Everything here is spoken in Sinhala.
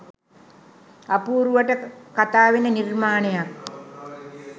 අපූරුවට කතාවෙන නිර්මාණයක්